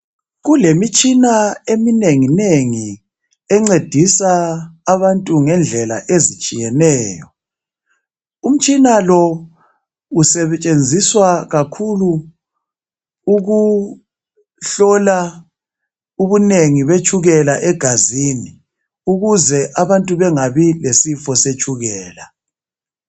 Kulemitshina eminenginengi encedisa abantu ngendlela ezitshiyeneyo. Umtshina lo usetshenziswa kakhulu ukuhlola ubunengi betshukela egazini, ukuze abantu bengabi lesifo setshukela.